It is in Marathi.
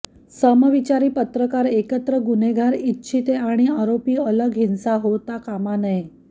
समविचारी पत्रकार एकत्र गुन्हेगार इच्छिते आणि आरोपी अलग हिंसा होता कामा नाही